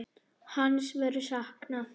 Hans verður saknað.